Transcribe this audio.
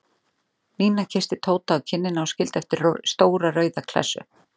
Nína kyssti Tóta á kinnina og skildi eftir stóra rauða klessu.